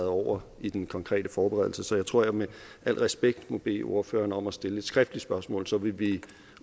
over i den konkrete forberedelse så jeg tror jeg med al respekt må bede ordføreren om at stille et skriftligt spørgsmål så vil vi